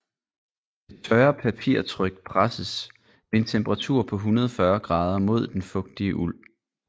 Det tørre papirtryk presses ved en temperatur på 140 grader mod den fugtige uld